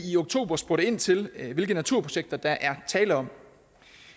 i oktober spurgte ind til hvilke naturprojekter der er tale om